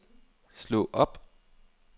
slå op